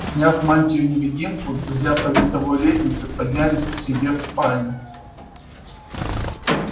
сняв мантию-невидимку друзья по винтовой лестнице поднялись к себе в спальню